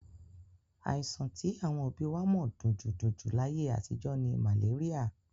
Àìsàn tí àwọn òbí wa mọ̀ dunjúdunjú láyé àtijọ́ ni màléríà.